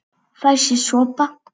Fær sér sopa.